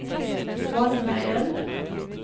vannveien